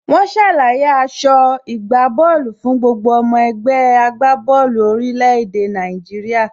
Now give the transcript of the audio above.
Wọ́n ṣàlàyé aso ìgbábóòlù fún gbogbo ọmọ ẹgbẹ́ agbá bọ́ọ̀lù orílẹ̀ èdè Nàìjíríà.